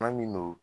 Maa min no